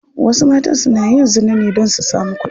Wasu matan suna yin zina ne don su samu kudi.